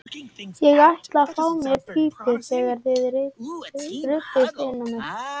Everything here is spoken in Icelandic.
Ég ætlaði að fá mér í pípu þegar þið ruddust inn á mig.